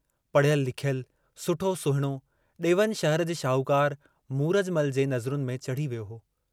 पड़िहयलु लिखियल, सुठो सुहिणो डेवन शहर जे शाहूकार मूरजमल जे नज़रुनि में चड़ही वियो हो।